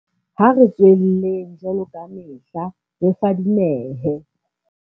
Ha re tswelleng, jwaloka kamehla, re fadimehe.